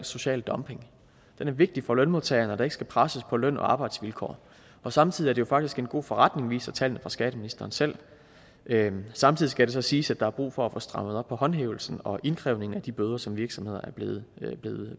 social dumping det er vigtigt for lønmodtagerne at der ikke skal pres på løn og arbejdsvilkår og samtidig jo faktisk en god forretning viser tallene fra skatteministeren selv samtidig skal det så siges at der er brug for at få strammet op på håndhævelsen og indkrævningen at de bøder som virksomhederne er blevet